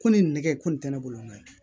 Ko ni nɛgɛ ko nin tɛ ne bolo n ka